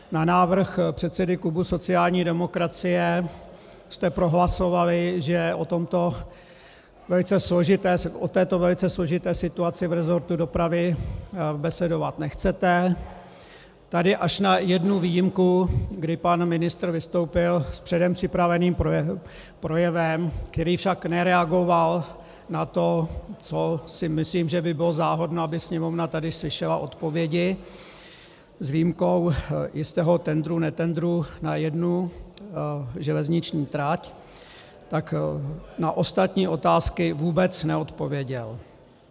Na návrh předsedy klubu sociální demokracie jste prohlasovali, že o této velice složité situaci v resortu dopravy besedovat nechcete, tady až na jednu výjimku, kdy pan ministr vystoupil s předem připraveným projevem, který však nereagoval na to, co si myslím, že by bylo záhodno, aby Sněmovna tady slyšela odpovědi, s výjimkou jistého tendru netendru na jednu železniční trať, tak na ostatní otázky vůbec neodpověděl.